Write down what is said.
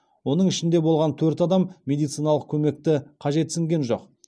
оның ішінде болған төрт адам медициналық көмекті қажетсінген жоқ